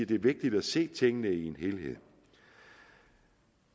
det er vigtigt at se tingene i en helhed